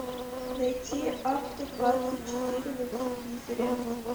найти авто двадцать четыре на телевизоре